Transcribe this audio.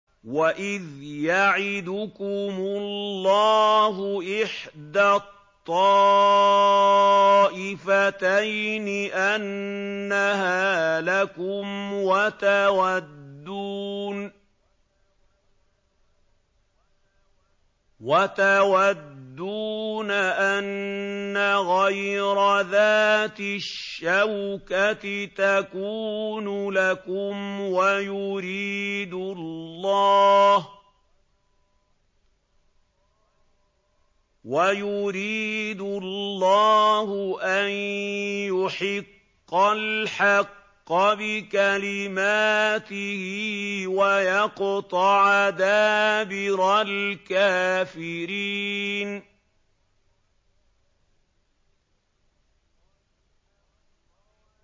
وَإِذْ يَعِدُكُمُ اللَّهُ إِحْدَى الطَّائِفَتَيْنِ أَنَّهَا لَكُمْ وَتَوَدُّونَ أَنَّ غَيْرَ ذَاتِ الشَّوْكَةِ تَكُونُ لَكُمْ وَيُرِيدُ اللَّهُ أَن يُحِقَّ الْحَقَّ بِكَلِمَاتِهِ وَيَقْطَعَ دَابِرَ الْكَافِرِينَ